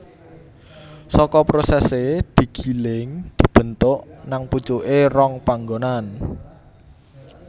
Saka prosesé digiling dibentuk nang pucuké rong panggonan